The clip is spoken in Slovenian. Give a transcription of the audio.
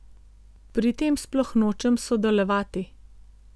Pri tem sploh nočem sodelovati.